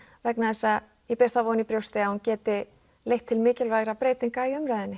vegna þess að ég ber þá von í brjóst að hún geti leitt til mikilvægra breytinga í umræðunni